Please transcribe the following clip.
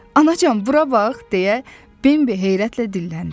Anacan, bura bax deyə Bembi heyrətlə dilləndi.